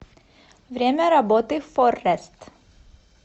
время работы форрест